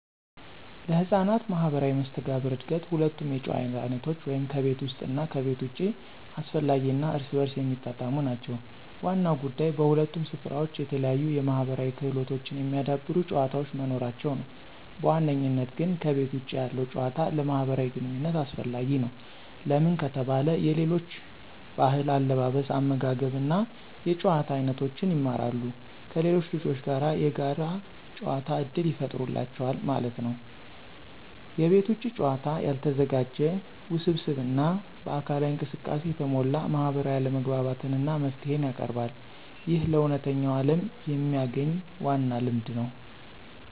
ለሕፃናት ማህበራዊ መስተጋብር እድገት ሁለቱም የጨዋታ አይነቶች (ከቤት ውስጥ እና ከቤት ውጭ) አስፈላጊ እና እርስ በርስ የሚጣጣሙ ናቸው። ዋናው ጉዳይ በሁለቱም ስፍራዎች የተለያዩ የማህበራዊ ክህሎቶችን የሚያዳብሩ ጨዋታዎች መኖራቸው ነው። በዋነኝነት ግን ከቤተ ውጭ ያለው ጭዋታ ለማህብራዊ ግንኝነት አሰፈላጊ ነው። ለምን ከተባለ የሌሎች ብህል አለባበስ አመጋገብ እና የጭዋታ አይኖቶችን ይማራሉ። ከሌሎች ልጆች ጋር የጋር ጨዋታ እድል ይፍጠሩላቸዋል ማለት ነው። የቤት ውጭ ጨዋታ ያልተዘጋጀ፣ ውስብስብ እና በአካላዊ እንቅስቃሴ የተሞላ ማህበራዊ አለመግባባትን እና መፍትሄን ያቀርባል። ይህ ለእውነተኛው ዓለም የሚያግኝ ዋና ልምድ ነው።